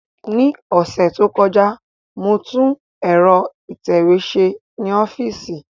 Ní ọ̀sẹ̀ tó kọjá, mo tún ẹ̀rọ ìtẹ̀wé ṣe ní ọ́fíìsì